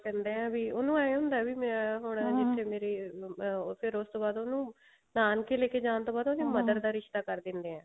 ਕਹਿੰਦੇ ਆ ਵੀ ਉਹਨੂੰ ਏਵੇਂ ਹੁੰਦਾ ਵੀ ਹੁਣ ਜਿੱਥੇ ਮੇਰੀ ਫ਼ੇਰ ਉਸ ਤੋਂ ਬਾਅਦ ਉਹਨੂੰ ਨਾਨਕੇ ਲੇਕੇ ਜਾਣ ਤੋਂ ਬਾਅਦ mother ਦਾ ਰਿਸ਼ਤਾ ਕਰ ਦਿੰਦੇ ਆ